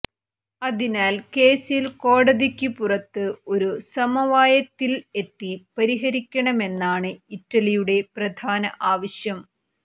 അതിനാൽ കേസിൽ കോടതിക്കു പുറത്ത് ഒരു സമവായത്തിൽ എത്തി പരിഹരിക്കണമെന്നാണ് ഇറ്റലിയുടെ പ്രധാന ആവശ്യം